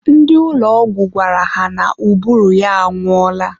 ndị ụlọ ọgwụ gwara ha na ụbụrụ ya anwụọla.